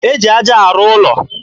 E ji aja arụ ụlọ